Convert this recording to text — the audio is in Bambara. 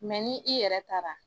ni i yɛrɛ taara